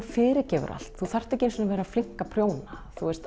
fyrirgefur allt þú þarft ekki einu sinni að vera flink að prjóna